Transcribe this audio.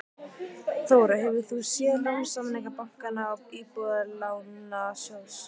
Þóra: Hefur þú séð lánasamninga bankanna og Íbúðalánasjóðs?